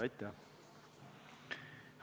Aitäh!